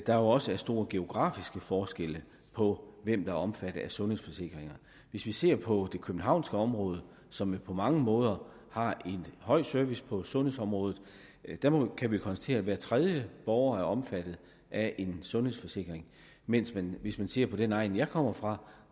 der også er store geografiske forskelle på hvem der er omfattet af sundhedsforsikringer hvis vi ser på det københavnske område som jo på mange måder har en høj service på sundhedsområdet kan vi konstatere at hver tredje borger er omfattet af en sundhedsforsikring mens det hvis man ser på den egn jeg kommer fra